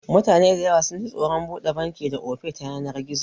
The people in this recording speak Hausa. Mutane dayawa sunji tsoron buɗe banki da Ofe ta yanar gizo